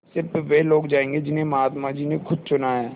स़िर्फ वे लोग जायेंगे जिन्हें महात्मा जी ने खुद चुना है